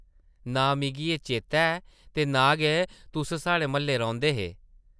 नां मिगी एह् चेतै ऐ ते नां गै तुस साढ़े म्हल्लै रौंह्दे हे ।